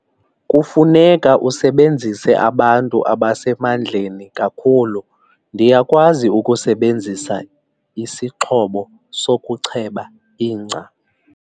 Kufuneka usebenzise abantu abasemandleni kakhulu. ndiyakwazi ukusebenzisa isixhobo sokucheba ingca